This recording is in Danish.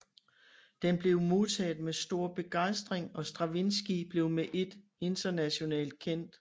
Den blev modtaget med stor begejstring og Stravinskij blev med ét internationalt kendt